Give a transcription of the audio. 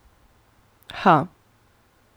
Ha.